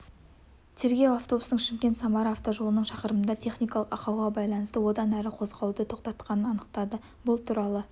тергеу автобустың шымкент самара автожолының шақырымында техникалық ақауға байланысты одан әрі қозғалуды тоқтатқанын анықтады бұл туралы